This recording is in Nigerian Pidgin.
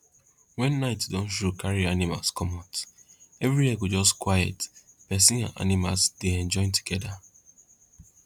wen night don show carry animals comot everywhere go just quiet persin and animals dey enjoy together